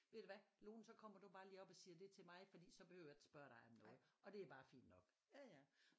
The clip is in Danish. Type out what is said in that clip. Ved du hvad Lone så kommer du bare lige op og siger det til mig fordi så behøver jeg ikke spørge dig om noget og det er bare fint nok